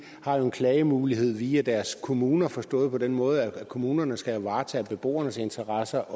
har jo en klagemulighed via deres kommuner forstået på den måde at kommunerne også skal varetage beboernes interesser